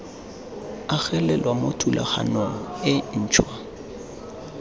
agelelwa mo thulaganyong e ntšhwa